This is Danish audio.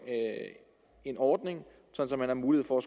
en ordning så der er mulighed for